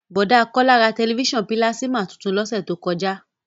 Bọ̀dá Kọ́lá ra tẹ̀lifísàn pílásímà tuntun lọ́sẹ̀ tó kọjá